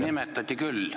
Nimetati küll!